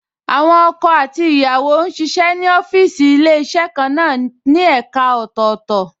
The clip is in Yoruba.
Àwọn ọkọ àti ìyàwó ń ṣiṣẹ́ ní ọ́fíìsì Ilé-iṣẹ́ kan náà ní ẹ̀ka ọ̀tọ̀ọ̀tọ̀